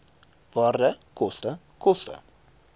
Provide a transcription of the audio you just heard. waarde koste koste